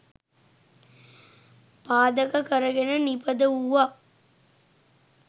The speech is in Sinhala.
පාදක කරගෙන නිපද වූවක්.